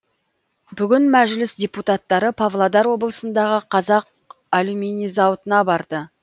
бүгін мәжіліс депутаттары павлодар облысындағы қазақ алюминий зауытына барды